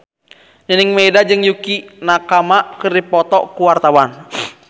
Nining Meida jeung Yukie Nakama keur dipoto ku wartawan